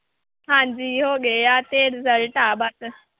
ਹਾਂਜੀ ਹੋ ਗਏ ਆ, ਤੇ result ਆ ਬਸ।